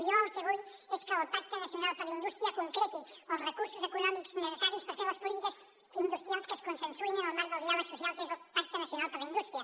jo el que vull és que el pacte nacional per a la indústria concreti els recursos econòmics necessaris per fer les polítiques industrials que es consensuïn en el marc del diàleg social que és el pacte nacional per a la indústria